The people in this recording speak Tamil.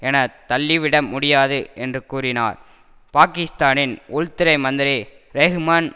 எனத்தள்ளிவிட முடியாது என்று கூறினார் பாக்கிஸ்தானின் உள்துறை மந்திரி ரெஹ்மன்